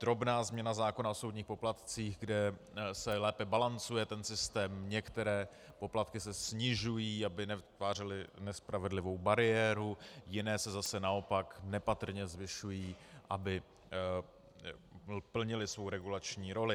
Drobná změna zákona o soudních poplatcích, kde se lépe balancuje ten systém, některé poplatky se snižují, aby nevytvářely nespravedlivou bariéru, jiné se zase naopak nepatrně zvyšují, aby plnily svou regulační roli.